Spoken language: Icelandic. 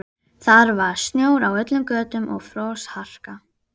Það var snjór á öllum götum og frostharka.